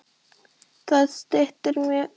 Það styttir mjög leiðir.